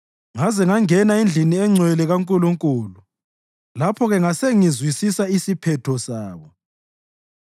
ngaze ngangena endlini engcwele kaNkulunkulu; lapho-ke ngasengizwisisa isiphetho sabo.